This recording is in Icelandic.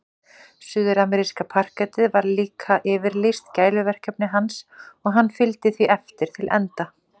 Suðurameríska parkettið var líka yfirlýst gæluverkefni hans og hann fylgdi því eftir til enda.